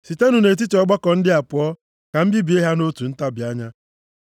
“Sitenụ nʼetiti ọgbakọ ndị a pụọ, ka m bibie ha nʼotu ntabi anya.”